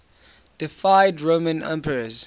deified roman emperors